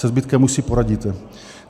Se zbytkem už si poradíte.